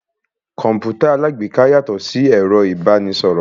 Kọ̀mpútà alágbèéká yàtọ̀ sí ẹ̀rọ ìbánisọ̀rọ̀.